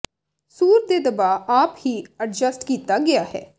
ਸੂਰ ਦੇ ਦਬਾਅ ਆਪ ਹੀ ਐਡਜਸਟ ਕੀਤਾ ਗਿਆ ਹੈ